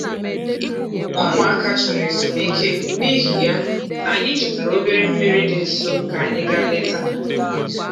Ụmụaka chọrọ ezumike, n'ihi ya, anyị chọtara obere mmiri dị nso ka anyị gaa leta